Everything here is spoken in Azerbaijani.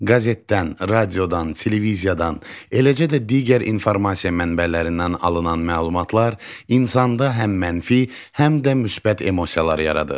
Qəzetdən, radiodan, televiziyadan, eləcə də digər informasiya mənbələrindən alınan məlumatlar insanda həm mənfi, həm də müsbət emosiyalar yaradır.